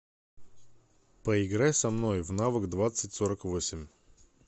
поиграй со мной в навык двадцать сорок восемь